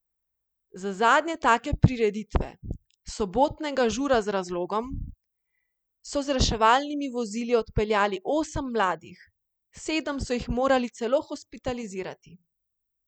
Z zadnje take prireditve, sobotnega Žura z razlogom, so z reševalnimi vozili odpeljali osem mladih, sedem so jih morali celo hospitalizirati.